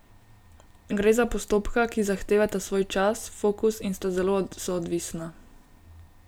Gre za postopka, ki zahtevata svoj čas, fokus in sta zelo soodvisna.